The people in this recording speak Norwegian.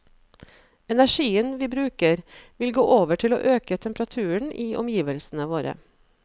Energien vi bruker, vil gå over til å øke temperaturen i omgivelsene våre.